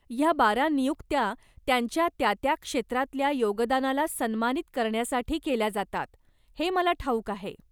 ह्या बारा नियुक्त्या त्यांच्या त्या त्या क्षेत्रातल्या योगदानाला सन्मानित करण्यासाठी केल्या जातात, हे मला ठाऊक आहे.